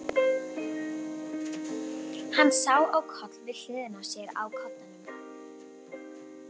Hann sá á koll við hliðina á sér á koddanum.